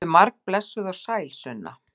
Komdu margblessuð og sæl, Sunna!